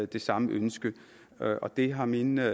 det samme ønske og det har mine